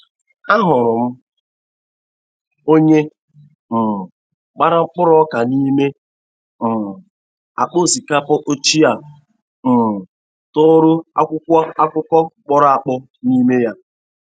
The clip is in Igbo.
Ahụrụ m onye um gbara mkpụrụ ọka n'ime um akpa osikapa ochie a um tọrọ akwụkwo akụkọ kpọrọ akpọ nime ya.